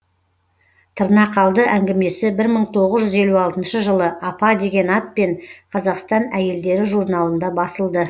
тырнақалды әңгімесі бір мың тоғыз жүз елу алтыншы жылы апа деген атпен қазақстан әйелдері журналында басылды